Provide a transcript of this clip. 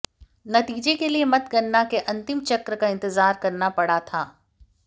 नतीजे के लिए मतगणना के अंतिम चक्र का इंतजार करना पड़ा था